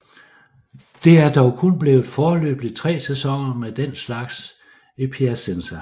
Det er dog kun blevet til foreløbig tre sæsoner med den slags i Piacenza